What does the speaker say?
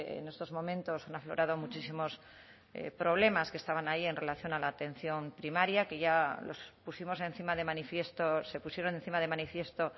en estos momentos han aflorado muchísimos problemas que estaban ahí en relación a la atención primaria que ya los pusimos encima de manifiesto se pusieron encima de manifiesto